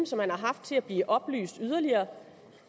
som han har haft til at blive oplyst yderligere